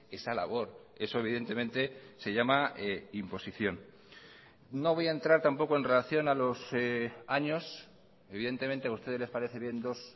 esa labor eso evidentemente se llama imposición no voy a entrar tampoco en relación a los años evidentemente a ustedes les parece bien dos